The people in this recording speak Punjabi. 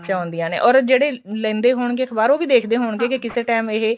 ਆਉਂਦੀਆਂ ਨੇ or ਜਿਹੜੇ ਲੈਂਦੇ ਹੋਣਗੇ ਅਖਬਾਰ ਉਹ ਵੀ ਦੇਖਦੇ ਹੋਣਗੇ ਕੇ ਕਿਸੇ time ਇਹ